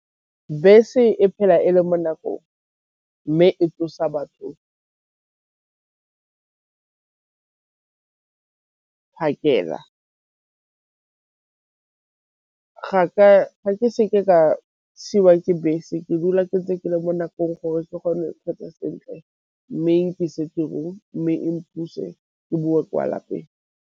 Bese e phela e le mo nakong mme e tsosa batho phakela ga ke seke ka siwa ke bese ke dula ke ntse ke le mo nakong gore ke kgone kgotsa sentle mme e nkise tirong, mme e mpuse, ke boe kwa lapeng.